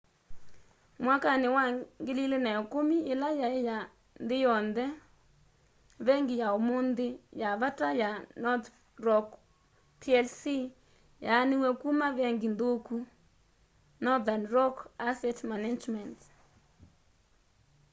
mwakani wa 2010 yila yai ya nthi yonthe vengi ya umunthi ya vata ya northern rock plc yaaniw'e kuma vengi nthuku” northern rock asset management